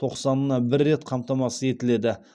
тоқсанына бір рет қамтамасыз етіледі